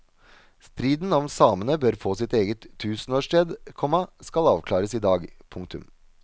Striden om samene bør få sitt eget tusenårssted, komma skal avklares i dag. punktum